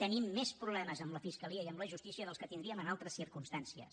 tenim més problemes amb la fiscalia i amb la justícia dels que tindríem en altres circumstàncies